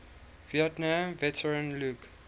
vietnam veteran luke